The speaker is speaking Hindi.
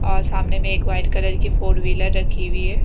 और सामने में एक वाइट कलर की फोर व्हीलर रखी हुई है।